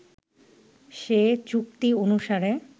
সে চুক্তি অনুসারে